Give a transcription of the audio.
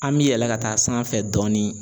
An bɛ yɛlɛ ka taa sanfɛ dɔɔni.